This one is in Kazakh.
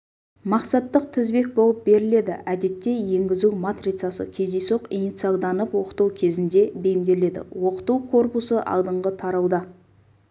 мақсаттық тізбек болып беріледі әдетте енгізу матрицасы кездейсоқ инициалданып оқыту кезінде бейімделеді оқыту корпусы алдыңғы тарауда